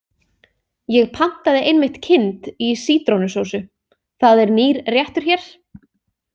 Ég pantaði einmitt kind í sítrónusósu, það er nýr réttur hér.